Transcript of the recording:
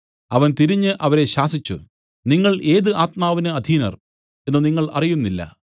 അവൻ തിരിഞ്ഞു അവരെ ശാസിച്ചു നിങ്ങൾ ഏത് ആത്മാവിന് അധീനർ എന്നു നിങ്ങൾ അറിയുന്നില്ല